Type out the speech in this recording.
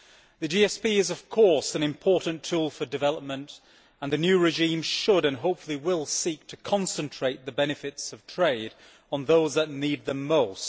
The GSP is, of course, an important tool for development, and the new regime should and hopefully will seek to concentrate the benefits of trade on those that need them most.